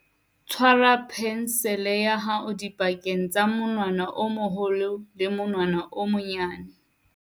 tshwara phensele ya hao dipakeng tsa monwana o moholo le monwana o monyenyane